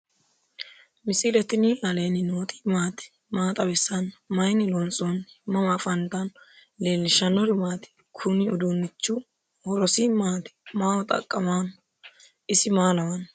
misile tini alenni nooti maati? maa xawissanno? Maayinni loonisoonni? mama affanttanno? leelishanori maati? kuuni uudunichu hirosi maati ?maaho xaqamano? isi msa laawano?